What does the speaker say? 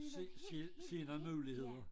Se se se nogle muligheder